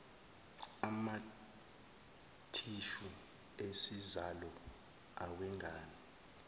amathishu esizalo awengane